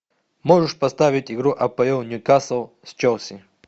можешь поставить игру апл ньюкасл с челси